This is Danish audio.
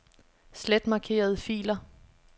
Slet markerede filer.